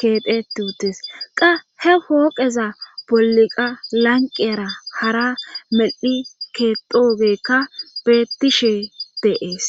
keeteti utees qa he fooqeza bolliqa lanqeara hara mel7hi keetogekka bettishe deees.